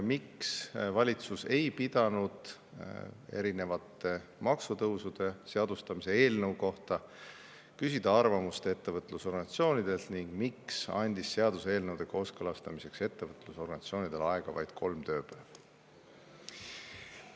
Miks valitsus ei pidanud erinevate maksutõusude seadustamise eelnõu kohta küsida arvamust ettevõtlusorganisatsioonidelt ning miks andis seaduseelnõude kooskõlastamiseks ettevõtlusorganisatsioonidele aega vaid kolm ööpäeva?